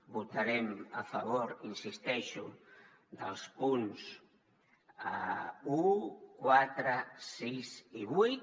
votarem a favor hi insisteixo dels punts un quatre sis i vuit